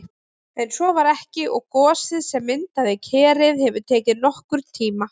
En svo var ekki og gosið sem myndaði Kerið hefur tekið nokkurn tíma.